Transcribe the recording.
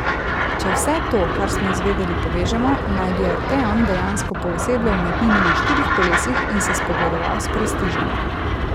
Če vse to, kar smo izvedeli, povežemo, naj bi arteon dejansko poosebljal umetnino na štirih kolesih in se spogledoval s prestižem.